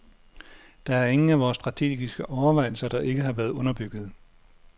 Der er ingen af vores strategiske overvejelser, der ikke har været underbyggede.